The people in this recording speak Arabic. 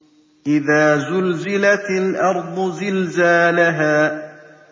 إِذَا زُلْزِلَتِ الْأَرْضُ زِلْزَالَهَا